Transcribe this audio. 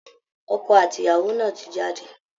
Ọkọ àti ìyàwó náà ti jáde